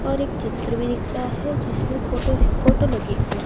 और एक चित्र भी दिख रहा है जिसमें फोटो फोटो लगी हुई--